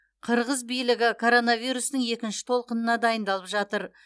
қырғыз билігі коронавирустың екінші толқынына дайындалып жатыр